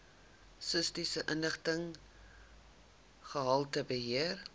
statistiese inligting gehaltebeheer